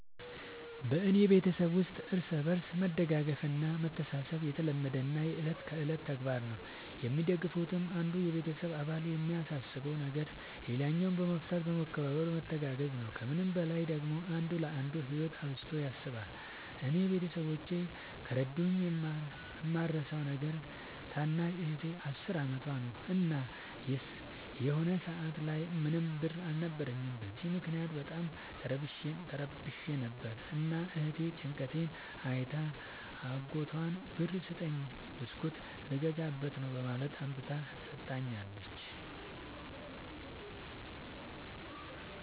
በኔ ቤተሠብ ውስጥ እርስ በርስ መደጋገፍ እና መተሣሠብ የተለመደና የእለት ከእለት ተግባር ነው። የሚደጋገፉትም አንዱ የቤተሰብ አባል የሚያሳስበውን ነገር ሌላኛው በመፍታት በመከባበር በመተጋገዝ ነው። ከምንም በላይ ደግሞ አንዱ ለአንዱ ህይወት አብዝቶ ያስባል። እኔ ቤተሠቦቼ ከረዱኝ የማረሣው ነገር ታናሽ እህቴ አስር አመቷ ነው። እና የሆነ ሰአት ላይ ምንም ብር አልነበረኝም። በዚያ ምክንያት በጣም ተረብሼ ነበር። እና እህቴ ጭንቀቴን አይታ አጎቷን ብር ስጠኝ ብስኩት ልገዛበት ነው በማለት አምጥታ ሠጥታኛለች።